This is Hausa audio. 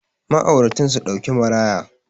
ma'auratan su dauki maraya